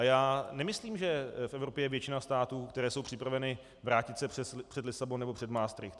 A já nemyslím, že v Evropě je většina států, které jsou připraveny se vrátit před Lisabon nebo před Maastricht.